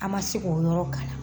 An ma se k'o yɔrɔ kalan